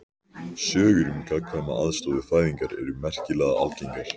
Sögur um gagnkvæma aðstoð við fæðingar eru merkilega algengar.